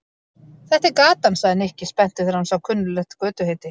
Þetta er gatan sagði Nikki spenntur þegar hann sá kunnuglegt götuheiti.